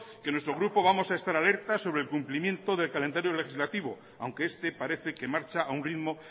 que en nuestro grupo vamos a estar alertas sobre el cumplimiento del calendario legislativo aunque esté parece que marcha a un ritmo